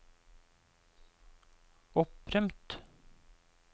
opprømt